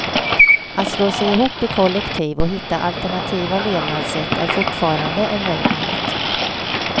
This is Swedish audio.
Att slå sig ihop i kollektiv och hitta alternativa levnadssätt är fortfarande en möjlighet.